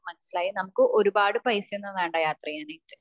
മനസിലായി നമുക്ക് ഒരുപാട് പൈസയൊന്നും വേണ്ട യാത്ര ചെയ്യാൻ ആയിട്ട്